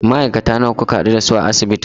Ma'aikata nawa kuka haɗu da su a asibitin?